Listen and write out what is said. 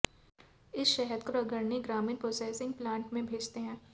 इस शहद को अग्रणी ग्रामीण प्रोसैसिंग प्लांट में भेजते हैं